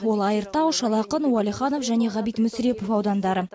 ол айыртау шал ақын уәлиханов және ғабит мүсірепов аудандары